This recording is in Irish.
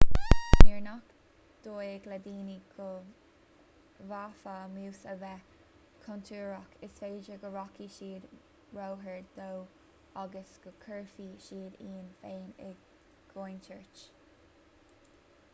nuair nach dóigh le daoine go bhféadfadh mús a bheith contúirteach is féidir go rachaidh siad róghar dó agus go gcuirfidh siad iad féin i gcontúirt